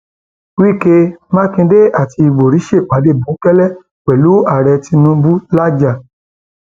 wíkẹ mákindé àti ìbòrí ṣèpàdé bòńkẹlẹ pẹlú ààrẹ tinubu làájá